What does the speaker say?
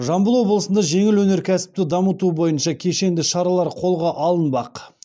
жамбыл облысында жеңіл өнеркәсіпті дамыту бойынша кешенді шаралар қолға алынбақ